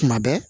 Kuma bɛɛ